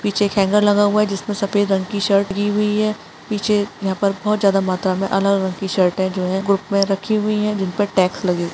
पीछे एक हैंगर लगा हुआ है जिसमें सफ़ेद रंग की शर्ट की हुई है पीछे यहाँ पर बहोत ज्यादा मात्रा में अलग-अलग टी -शर्ट्स जो है ग्रुप में रखी हुई है जिनपर टैक्स लगे हुए --